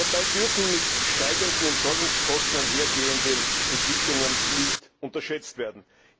Dabei dürfen mit steigenden Entsorgungskosten einhergehende Entwicklungen nicht unterschätzt werden.